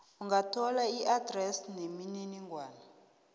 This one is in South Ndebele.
ungathola iadresi nemininingwana